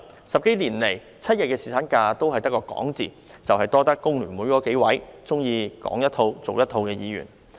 十多年來 ，7 日侍產假只有說的份兒，多虧工聯會數位喜歡"說一套做一套"的議員。